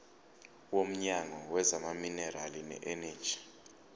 womnyango wezamaminerali neeneji